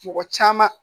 Mɔgɔ caman